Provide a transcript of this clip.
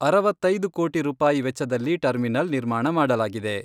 ಅರವತ್ತೈದು ಕೋಟಿ ರೂಪಾಯಿ ವೆಚ್ಚದಲ್ಲಿ ಟರ್ಮಿನಲ್ ನಿರ್ಮಾಣ ಮಾಡಲಾಗಿದೆ.